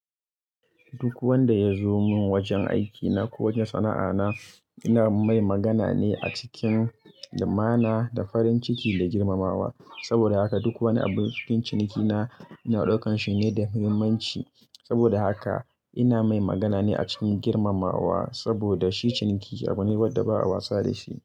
Duk wanda ya zo min wajen aikina ko wajen sana'ana, ina mai magana ne a cikin lumana da farin ciki da girmamawa. Saboda haka duk wani abu cikin cinikina, ina ɗaukan shi ne da muhimmanci. Saboda haka ina mai magana ne a cikin girmamawa saboda shi ciniki abu ne wadda ba'a wasa da shi.